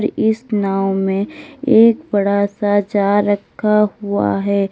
इस नाव में एक बड़ा सा जार रखा हुआ है।